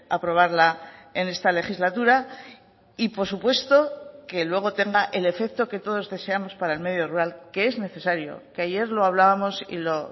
aprobarla en esta legislatura y por supuesto que luego tenga el efecto que todos deseamos para el medio rural que es necesario que ayer lo hablábamos y lo